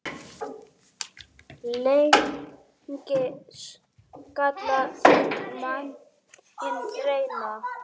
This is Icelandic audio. Lengi skal manninn reyna.